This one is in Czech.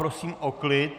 Prosím o klid.